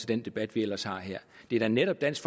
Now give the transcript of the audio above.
den debat vi ellers har her det er da netop dansk